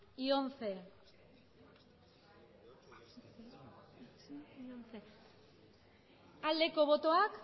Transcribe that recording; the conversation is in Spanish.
y once aldeko botoak